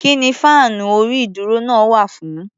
Kí ni fáànú orí-ìdúró náà wà fún?